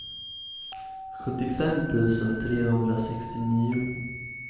sjuttiofem tusen trehundrasextionio